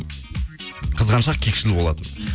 қызғаншақ кекшіл болатынмын